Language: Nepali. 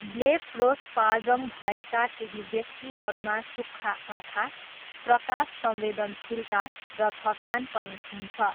ब्लेफरोस्पाज्म भएका केही व्यक्तिहरूमा सुक्खा आँखा, प्रकाश संवेदनशीलता, र थकान पनि हुन्छ।